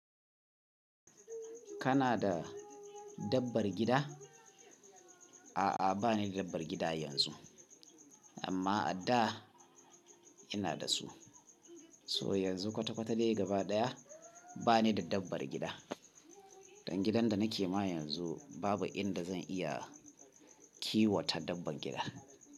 Kana da dabbar gida? A'a, ba ni da dabbar gida yanzu, amma a da ina da su. So yanzu kwata-kwata dai gaba ɗaya ba ni da dabbar gida. Dan gidan da nake ma yanzu babu inda zan iya kiwata dabbar gida.